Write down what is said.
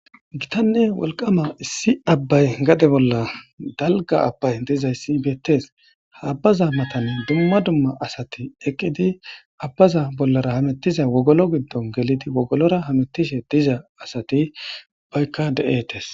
gitanne wolqama issi abbay gade bolla dalga abbay dizayssi beettees haabbaza matanne dumma dumma asati eqqidi abbaza bollara hamettiza wogolo giddon gelidi wogolora hamettishe diza asati baykka de7etes